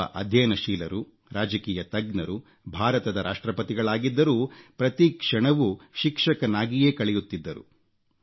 ಒಬ್ಬ ಅಧ್ಯಯನಶೀಲರು ರಾಜಕೀಯ ತಜ್ಞರು ಭಾರತದ ರಾಷ್ಟ್ರಪತಿಗಳಾಗಿದ್ದರೂ ಪ್ರತಿಕ್ಷಣವೂ ಶಿಕ್ಷಕನಾಗಿಯೇ ಕಳೆಯುತ್ತಿದ್ದರು